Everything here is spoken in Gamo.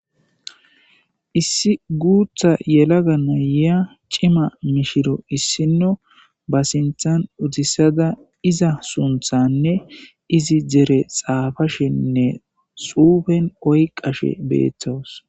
Issi guutha yelaga naya cima mishiriyo ba sinthan uttisidi sunthane izi dere xaafashe xuufen oykashe daws.